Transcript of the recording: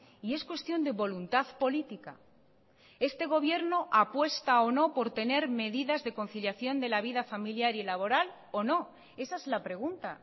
y es cuestión de voluntad política este gobierno apuesta o no por tener medidas de conciliación de la vida familiar y laboral o no esa es la pregunta